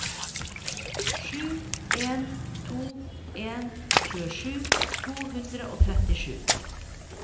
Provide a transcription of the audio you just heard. sju en to en tjuesju to hundre og trettisju